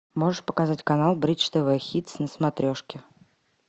можешь показать канал бридж тв хитс на смотрешке